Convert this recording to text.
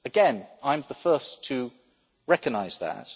Again, I am the first to recognise